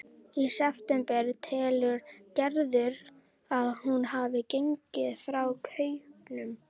Í september telur Gerður að hún hafi gengið frá kaupunum.